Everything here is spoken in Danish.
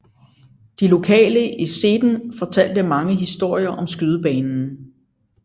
De lokale i Seden fortalte mange historier om skydebanen